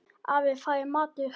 Afi, það er matur